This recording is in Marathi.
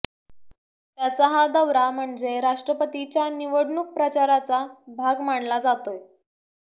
त्याचा हा दौरा म्हणजे राष्ट्रपतीच्या निवडणूक प्रचाराचा भाग मानला जातोय